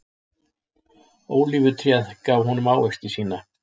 Ólífutréð gaf honum ávexti sína.